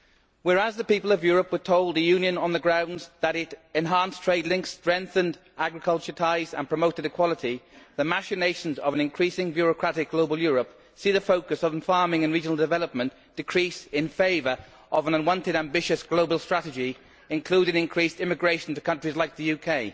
Whereas the people of Europe were told the Union on the grounds that it enhanced trade links strengthened agriculture ties and promoted equality, the machinations of an increasing bureaucratic global Europe see the focus on farming and regional development decrease in favour of an unwanted ambitious global strategy, including increased emigration to countries like the UK.